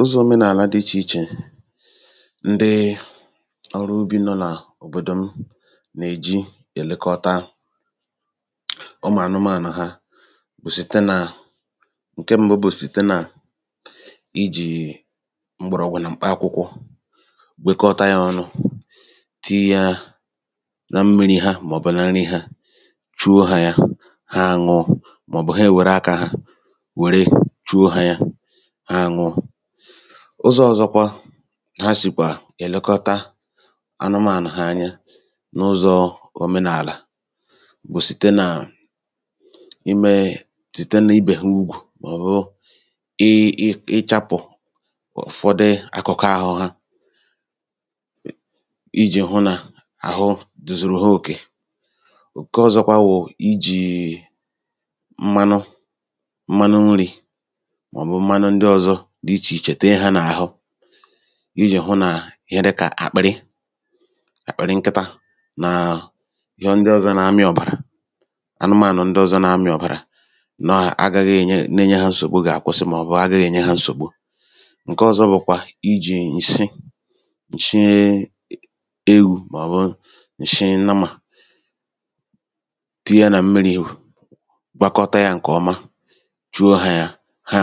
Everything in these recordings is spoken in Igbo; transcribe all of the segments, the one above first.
ụzọ̇ omenààlà dị ichè ichè ndị ọrụ ubi̇ nọ nà òbòdò m na-eji èlekọta ụmụ̀anụmaànà ha bụ̀ sìte nà ǹke m̀bụ bụ̀ sìte nà ijì m̀gbèrè ọ̀gwụ̀ nà m̀kpà akwụkwọ wekọta ya ọnụ tii yȧ na mmiri̇ ha màọbụ̀ na nri ha chuo ha ya ha àṅụọ màọbụ̀ ha èwère akȧ ha ụzọ̇ ọ̀zọkwa ha sìkwà èlekọta anụmànụ̀ hà anya n’ụzọ̇ omenààlà bụ̀ sìte nà imėė sìte n’ibè ha ugwù màọ̀bụ̀ ịchapụ̀ ụ̀fọdị akụ̀kọ àhụ ha ijì hụ nà àhụ zùrù ha òkè ǹke ọ̀zọkwa wụ̀ ijìì dị ichè ichè tee ha nà-àhụ ijì hụ nà ihe dịkà àkpị̀rị àkpị̀rị nkịtȧ nàà ihe ndị ọ̀zọ na-amị̇ ọ̀bàrà anụmanụ̀ ndị ọ̀zọ na-amị̇ ọ̀bàrà nọ à agaghị ènye na-enye ha nsògbu gà-àkwụsị màọbụ agaghị ènye ha nsògbu ǹke ọ̀zọ bụ̀kwa ijì ǹshị ǹshị ewu̇ màọbụ ǹshị nnamà tie nà mmiri̇ gwakọta yȧ ǹkèọma chuo hà ya ha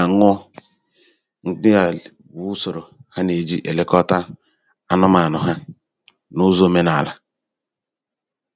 nà-èji èlekọta anụmaànụ̀ ha n’ụzọ̇ omenààlà